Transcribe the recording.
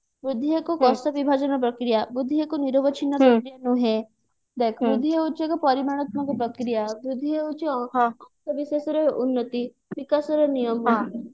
ବୃଦ୍ଧି ଏକ କୋଷ ବିଭାଜନ ପ୍ରକ୍ରିୟା ବୃଦ୍ଧି ଏକ ନିରବିଛିନ୍ନ ପ୍ରକ୍ରିୟା ନୁହେଁ ଦେଖ ବୃଦ୍ଧି ହଉଛି ଏକ ପରିମାଣାତ୍ମକ ପ୍ରକ୍ରିୟା ବୃଦ୍ଧି ହଉଛି ବିଶେଷରେ ଉନ୍ନତି ବିକାଶ ର ନିୟମ